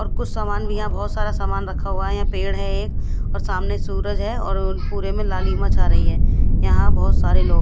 और कुछ सामान भी है यह पर बोहोत सारा सामान रखा हुआ है यह पेड़ है एक और सामने सूरज है और पुरे में लाली माँ छाह रही है यह बोहोत सारे लोग--